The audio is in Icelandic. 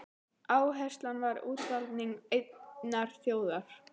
Áherslan var á útvalningu einnar þjóðar.